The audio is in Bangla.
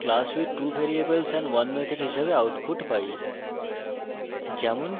আমরা we have created a class with 2 variables and 1 method হিসাবে output পাই